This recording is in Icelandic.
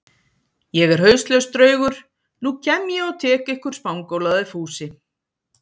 Ég er hauslaus draugur, nú kem ég og tek ykkur spangólaði Fúsi.